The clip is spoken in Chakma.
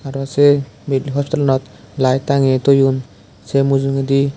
aro say mid hostelanot light tangge toyoun say mujogedi.